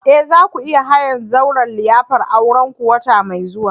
Eh! za ku iya hayan zauren liyafar aurenku wata mai zuwa.